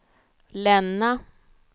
Länna